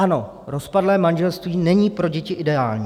Ano, rozpadlé manželství není pro děti ideální.